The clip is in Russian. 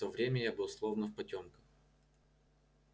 в то время я был словно в потёмках